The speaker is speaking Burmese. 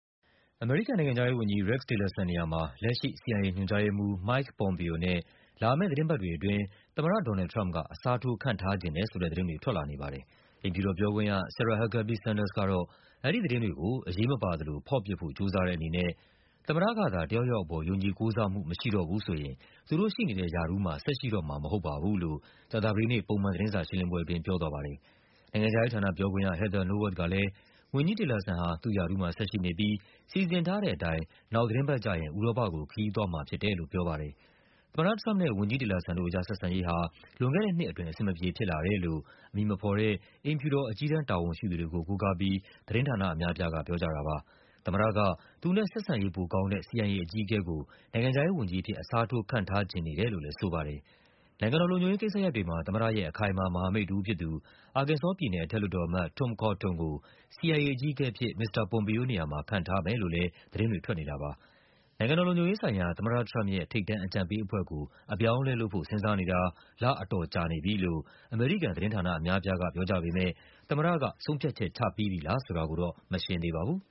အမေရိကန်နိုင်ငံခြားရေးဝန်ကြီး Rex Tillerson နေရာမှာ လက်ရှိ CIA ညွှန်ကြားရေးမှူး Mike Pompeo နဲ့ လာမယ့်သီတင်းပတ် တွေအတွင်း သမ္မတDonald Trump က အစားထိုး ခန့်ထားချင်တယ်ဆိုတဲ့သတင်းတွေ ထွက်လာနေပါတယ်။ အိမ်ဖြူတော်ပြောခွင့်ရ Sarah Huckabee Sanders က အဲဒီသတင်းတွေကို အရေးမပါသလို ဖော့ပစ်ဖို့ ကြိုးစားတဲ့အနေနဲ့ သမ္မတကသာ တယောက်ယောက်အပေါ် ယုံကြည်ကိုးစားမှု မရှိတော့ဘူးဆိုရင် သူတို့ရှိနေတဲ့ရာထူးမှာ ဆက်ရှိတော့မှာမဟုတ်ပါ ဘူးလို့ ကြာသပတေးနေ့ ပုံမှန်သတင်းစာရှင်းလင်းပွဲအတွင်း ပြောသွားပါတယ်။ နိုင်ငံခြားရေးဌာနပြောခွင့်ရ Heather Nauert ကလဲ ဝန်ကြီး Tillerson ဟာ သူ့ရာထူးမှာဆက်ရှိနေပြီး စီစဉ်ထားတဲ့အတိုင်း နောက်သီတင်းပတ်ကျရင် ဥရောပကို ခရီးသွားမှာ ဖြစ်တယ်လို့ ပြောပါတယ်။ သမ္မတထရမ့်ပ်နဲ့ ဝန်ကြီး Tillerson တို့အကြား ဆက်ဆံရေးဟာ လွန်ခဲ့တဲ့နှစ်အတွင်း အဆင်မပြေဖြစ်လာတယ်လို့ အမည်မဖော် တဲ့ အိမ်ဖြူတော် အကြီးတန်းတာဝန်ရှိသူတွေကို ကိုးကားပြီး သတင်းဌာနအများအပြားက ပြောကြပါတယ်။ သမ္မတက သူနဲ့ ဆက်ဆံရေးပိုကောင်းတဲ့ CIA အကြီးအကဲကို နိုင်ငံခြားရေးဝန်ကြီးအဖြစ် အစားထိုး ခန့်ထားချင်နေတယ်လို့လဲ ဆိုပါတယ်။ နိုင်ငံတော်လုံခြုံရေးကိစ္စရပ်တွေမှာ သမ္မတရဲ့ အခိုင်အမာ မဟာမိတ်တဦးဖြစ်သူ အာကင်ဆောပြည်နယ် အထက်လွှတ်တော် အမတ် Tom Cotton ကို CIA အကြီးအကဲအဖြစ် မစ္စတာ Pompeo နေရာမှာ ခန့်ထားမယ်လို့လဲ သတင်းတွေ ထွက်နေတာပါ။ နိုင်ငံတော်လုံခြုံရေးဆိုင်ရာ သမ္မတထရမ့်ပ်ရဲ့ ထိပ်တန်းအကြံပေးအဖွဲ့ကို အပြောင်းအလဲ လုပ်ဖို့ စဉ်းစားနေတာ လအတော်ကြာ နေပြီလို့ အမေရိကန်သတင်းဌာနအများအပြားက ပြောကြပေမဲ့ သမ္မတက ဆုံးဖြတ်ချက် ချပြီးပြီလားဆိုတာတော့ မရှင်းသေးပါဘူး